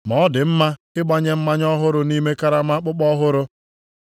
Ma ọ dị mma ịgbanye mmanya ọhụrụ nʼime karama akpụkpọ ọhụrụ.